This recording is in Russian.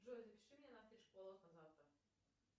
джой запиши меня на стрижку волос на завтра